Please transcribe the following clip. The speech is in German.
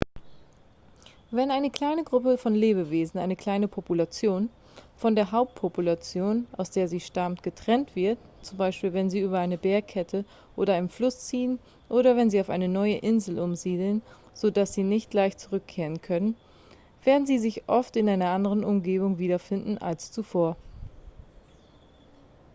wenn eine kleine gruppe von lebewesen eine kleine population von der hauptpopulation aus der sie stammt getrennt wird z. b. wenn sie über eine bergkette oder einen fluss ziehen oder wenn sie auf eine neue insel umsiedeln so dass sie nicht leicht zurückkehren können werden sie sich oft in einer anderen umgebung wiederfinden als zuvor